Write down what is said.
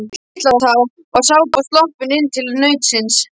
Á Litlutá var Sápa sloppin inn til nautsins.